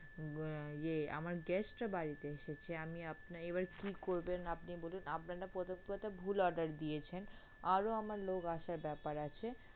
হম ইয়ে আমার guest রা বাড়িতে এসেছে আমি আপনার এবার কি করবেন আপনি বলুন আপনারা প্রথম কথা ভুল order দিয়েছেন আরো আমার লোক আসার ব্যাপার আছে।